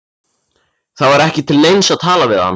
Það var ekki til neins að tala við hann.